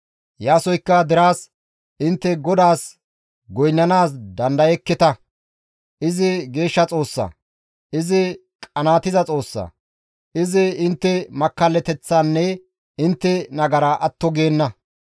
Iyaasoykka deraas, «Intte GODAAS goynnanaas dandayekketa; izi geeshsha Xoossa; izi qanaatiza Xoossa; izi intte makkallateththaanne intte nagaraa atto geenna.